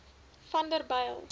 vanderbijl